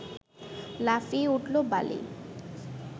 লাফিয়ে উঠল বালি